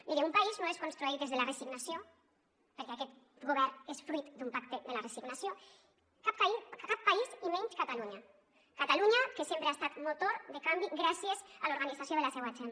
mire un país no es construeix des de la resignació perquè aquest govern és fruit d’un pacte de la resignació cap país i menys catalunya catalunya que sempre ha estat motor de canvi gràcies a l’organització de la seua gent